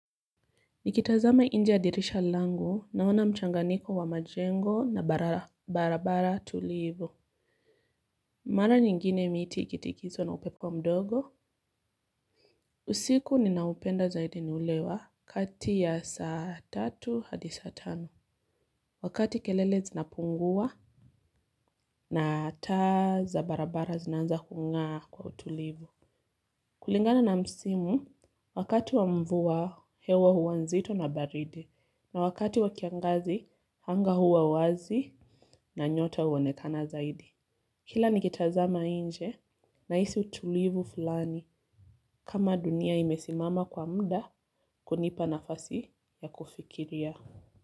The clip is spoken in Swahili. Nikitazama nje ya dirisha langu naona mchanganyiko wa majengo na barabara tulivu. Mara nyingine miti ikitingizwa na upepo mdogo. Mara nyingine miti ikitingizwa na upepo mdogo. Wakati kelele zinapungua na taa za barabara zinaanza kungaa kwa utulivu. Kulingana na msimu wakati wa mvua hewa huwa nzito na baridi na wakati wa kiangazi anga huwa wazi na nyota huonekana zaidi. Kila nikitazama nje nahisi utulivu fulani kama dunia imesimama kwa muda kunipa nafasi ya kufikiria.